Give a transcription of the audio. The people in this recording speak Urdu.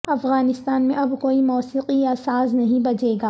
افغانستان میں اب کوئی موسیقی یا ساز نہیں بجے گا